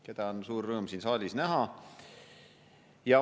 Teda on suur rõõm siin saalis näha.